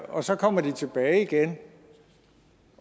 og så kommer de tilbage igen